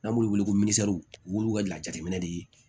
N'an b'u wele ko olu ka lajinɛ de ye